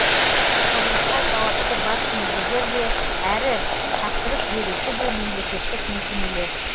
құрылысқа жауапты бас мердігер де әрі тапсырыс беруші де мемлекеттік мекемелер